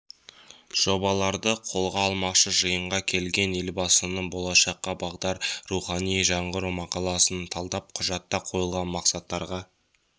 жобаларды қолға алмақшы жиынға келгендер елбасының болашаққа бағдар рухани жаңғыру мақаласын талдап құжатта қойылған мақсаттарға